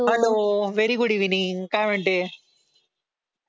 hello very good evening काय म्हणते